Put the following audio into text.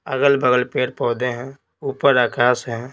अगल-बगल पेड़ पौधे हैं ऊपर आकाश है।